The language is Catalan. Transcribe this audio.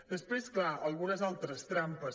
després clar algunes altres trampes